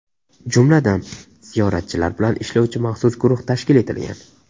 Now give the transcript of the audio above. Jumladan, ziyoratchilar bilan ishlovchi maxsus guruh tashkil etilgan.